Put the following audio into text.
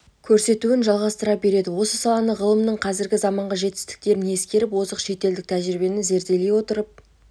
көрсетуін жалғастыра береді осы саланы ғылымның қазіргі заманғы жетістіктерін ескеріп озық шетелдік тәжірибені зерделей отырып